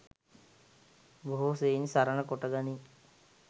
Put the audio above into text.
බොහෝ සෙයින් සරණ කොට ගනී.